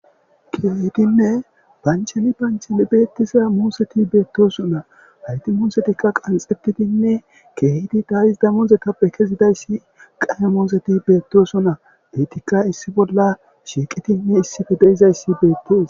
kiyeytinne bancheni bancheli beettisa muuseti beettoson na hayti muusetikka qanxetitinne kehiti daayisda muze tappe kezidayssi qaye mooseti beettoson na eytikka issi bolla shiiqitinne issife deizayssi beettis